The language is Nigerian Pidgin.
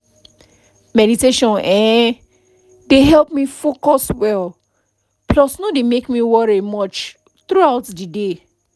meditation[um]dey help me focus well plus no dey make me worry much throughout the day